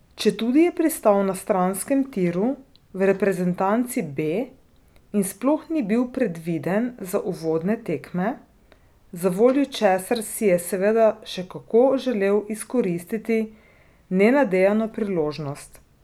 Četudi je pristal na stranskem tiru, v reprezentanci B, in sploh ni bil predviden za uvodne tekme, zavoljo česar si je seveda še kako želel izkoristiti nenadejano priložnost.